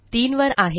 3 वर आहे